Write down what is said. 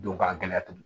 Don k'a gɛlɛya tuguni